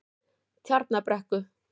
Tjarnarbrekku